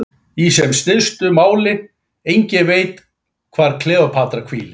Í sem stystu máli: enginn veit hvar Kleópatra hvílir.